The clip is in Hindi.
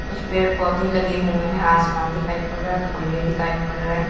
कुछ पेड़ पौधे लगे हुए हैं आसमान दिखाइ पड़ रहा खंभे दिखाई पड़ रहे--